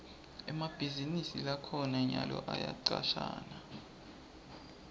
emabhizinisi lakhona nyalo ayacashana